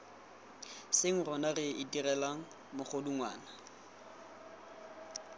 seng rona re itirelang megodungwana